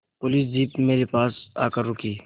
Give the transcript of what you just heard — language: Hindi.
पुलिस जीप मेरे पास आकर रुकी